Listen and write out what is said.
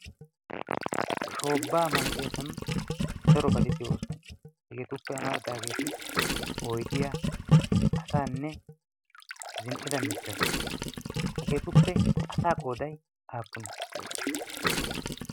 shoobbaa malatiyaasan daro batiddi oosuwana hageetuppe amaridaageeti oydiyaa asaanne zin"ida mittata hageetuppe asa qooday aappunee?